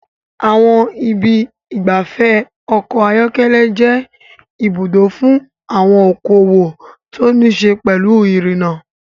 Àwọn ibi ìgbafẹ́ ọkọ̀ ayọ́kẹ́lẹ́ jẹ́ ibùdó fún àwọn okòwò tó ní í ṣe pẹ̀lú irinna.